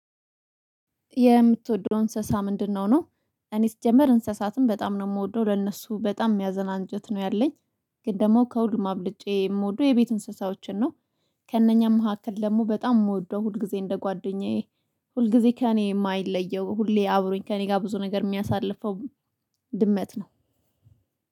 የምትወደው እንስሳ ምንድነው? ነው፣ እኔ ሲጀመር እንስሳትን በጣም ነው የምወደው፣ ለእነሱ በጣም የሚያዝን አንጀት ነው ያለኝ፣ ግን ደግሞ ከሁሉም አብልጬ የምወደው የቤት እንስሳዎችን ነው ከእነኛ መካከል ደግሞ በጣም የምወደው፣ ሁል ጊዜ እንደ ጓደኛዬ ሁል ጊዜ ከእኔ የማይለየው ሁሌ አብሮኝ ከእኔ ጋር ብዙ ነገር የሚያሳልፈው ድመት ነው